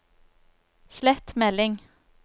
slett melding